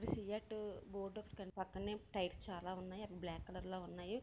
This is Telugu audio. సి_ఎట్ బోర్డు ఒకటి కనిపి పక్కనే టైర్స్ చాలా ఉన్నాయి. అవి బ్లాక్ కలర్ లో ఉన్నాయి.